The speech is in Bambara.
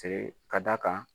Ten ka d'a kan